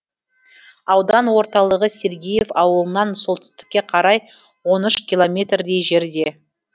аудан орталығы сергеев ауылынан солтүстікке қарай он үш километрдей жерде